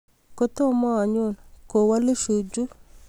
kitomo anyoo, kowolu Shuju